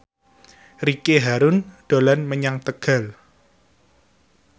Ricky Harun dolan menyang Tegal